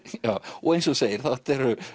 og eins og þú segir þetta eru